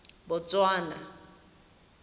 botswana